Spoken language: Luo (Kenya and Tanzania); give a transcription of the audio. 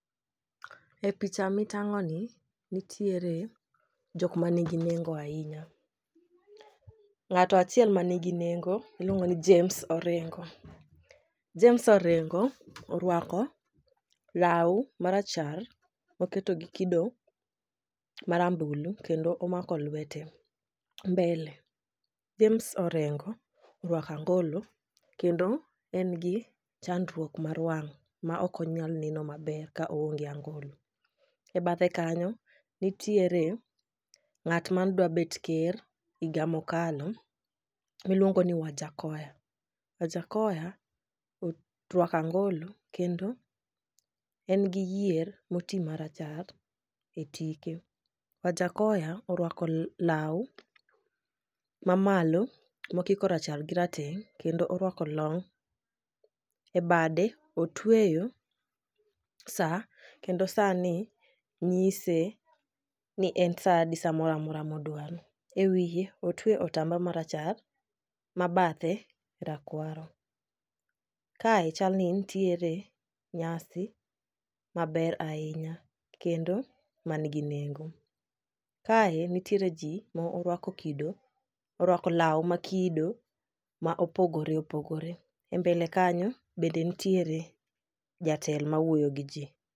E picha mitang'oni, nitiere jok manigi nengo ahinya, ng'ato achiel manigi nengo iluongo ni James Orengo. James Orengo orwako law marachar oketo gi kido marambulu kendo omako lwete mbele. James Orengo orwako angolo kendo en gi chandruok mar wang',ma ok onyal neno maber ka oonge angolo. E bathe kanyo, nitiere ng'at mane dwa bet ker higa mokalo miluongo ni Wajakhoya, Wajakhoya orwako angolo kendo en gi yier moti marachar e tike. Wajakhoya orwako law mamalo mokiko rachar gi raetng'; kendo orwako long ,e bade otweyo sa kendo sani ng'ise ni en sadi, sa mora mora modwaro. E wiye otwe otamba marachar ma bathe rakwaro, kae chal ni nitiere nyasi maber ahinya kendo manigi nengo. Kae nitiere ji ma orwako law ma kido ma opogore opogore.E mbele kanyo be nitiere jatelo mawuoyo gi ji.